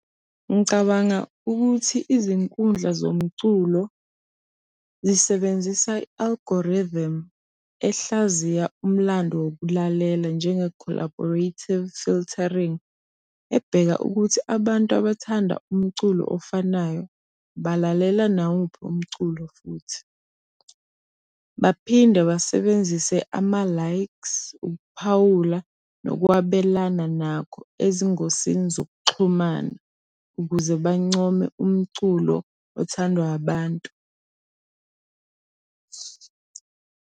Ngicabanga ukuthi izinkundla zomculo zisebenzisa i-algorithm ehlaziya umlando wokulalela njenge-collaborative filtering, ebheka ukuthi abantu abathanda umculo ofanayo balalela nawuphi umculo futhi. Baphinde basebenzise ama-likes, ukuphawula nokwabelana nakho ezingosini zokuxhumana ukuze bancome umculo othandwa abantu.